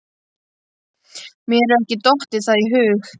Mér hefur ekki dottið það í hug.